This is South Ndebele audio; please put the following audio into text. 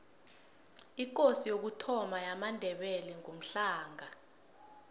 ikosi yokuthoma yamandebele ngumhlanga